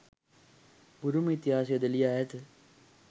බුරුම ඉතිහාසයද ලියා ඇත.